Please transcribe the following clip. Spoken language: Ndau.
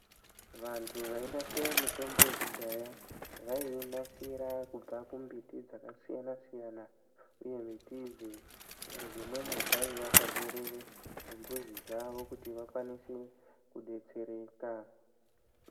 Vanthu vainasira mitombo yekudhaya, vaiinasira kubva kumumbiti dzakasiyana-siyana, uye mbiti idzi dzimweni dzaiya paberere remuzi dzawo kuti vakwanise kudetsereka.